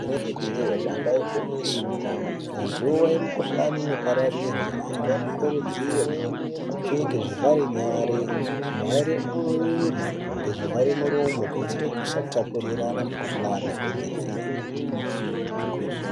Rinenge jee nyamba igwinyiso. Mazuva ano mikhuhlani inopararira. Antu anokurudzirwa kuti apfeke zvivhara nyara, zvivhara muviri nezvibhara muromo kuitira kusatapurirana mikhuhlani kwemene.